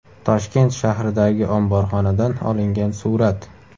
Toshkent shahridagi omborxonadan olingan surat.